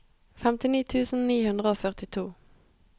femtini tusen ni hundre og førtito